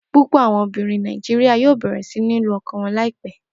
Pupọ awọn obinrin Naijiria yoo bẹrẹ si ni lu ọkọ wọn laipẹ.